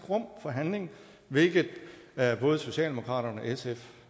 rum for handling hvilket både socialdemokratiet